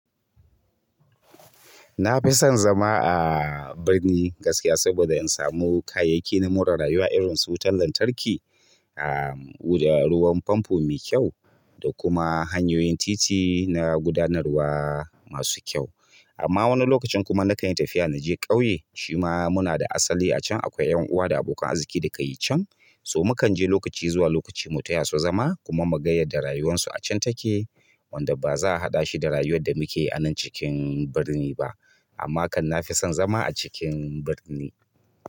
Na fi son zama a birni gaskiya, saboda in samu kayayyaki na more rayuwa irin su wutan lantarki, ahm da ruwan famfo mai kyau, da kuma hanyoyin titi na gudanarwa masu kyau. Amma wani lokacin kuma na kan yi tafiya na je ƙauye, shima muna da asali a can. Akwai 'yan uwa da abokan arziki da ka yi can, so mu kan je lokaci zuwa lokaci mu taya su zama kuma mu ga yad da rayuwan su a can take wanda ba za a haɗa shi da rayuwar da muke anan cikin birni ba. Amma kan na fi son zama a cikin birni.